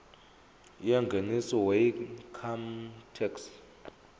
yengeniso weincome tax